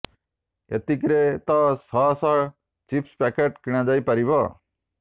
ଏତିକିରେ ତ ଶହ ଶହ ଚିପ୍ସ ପ୍ୟାକେଟ କିଣାଯାଇ ପାରିବ